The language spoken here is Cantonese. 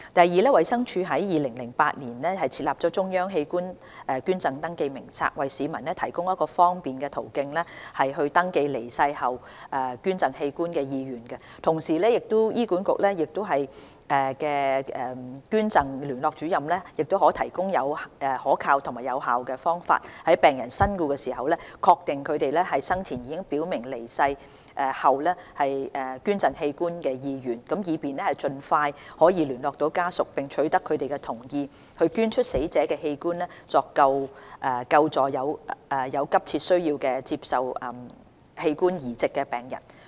二衞生署於2008年設立中央器官捐贈登記名冊，為市民提供一個方便的途徑登記離世後捐贈器官的意願，同時為醫管局器官捐贈聯絡主任提供可靠及有效的方法，在病人身故時確定他們生前已表明離世後捐贈器官的意願，以便盡快聯絡家屬並取得他們的同意，捐出死者的器官來救助有急切需要接受器官移植的病人。